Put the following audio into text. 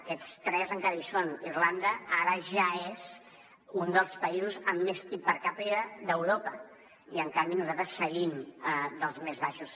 aquests tres encara hi són irlanda ara ja és un dels països amb més pib per capita d’europa i en canvi nosaltres seguim dels més baixos